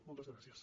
moltes gràcies